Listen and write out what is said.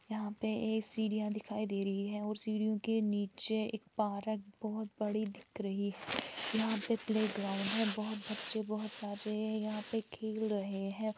यहाँ पे एक सीढ़ियां दिखाई दे रही हैं और सीढ़ियों के नीचे एक परक बहुत बड़ी दिख रही है यहाँ पर प्लेग्राउंड है बहुत बच्चे बहुत सारे यहाँ पर खेल रहे हैं।